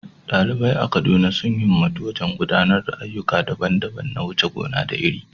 Ɗalibai a Kaduna sun himmatu wajen gudanar da ayyuka daban-daban na wuce gona da iri.